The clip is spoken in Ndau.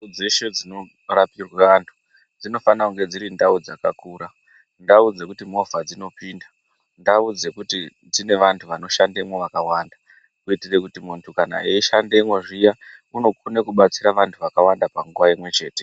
Nzvimbo dzeshe dzinorapirwe antu dzinofane kunge dzirindau dzakakura, ndau dzekuti movha dzinopinda. Ndau dzekuti dzine vantu vanoshandemo vakawanda kuitire kuti kana muntu eishandemo unokona kubatsira vantu vakawanda panguva imwechete.